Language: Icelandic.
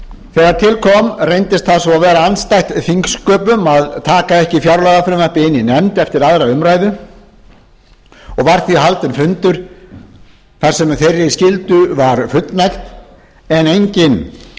þegar til kom reyndist það svo vera andstætt þingsköpum að taka ekki fjárlagafrumvarpið inn í nefnd eftir aðra umræðu og var því haldinn fundur þar sem þeirri skyldu var fullnægt en enginn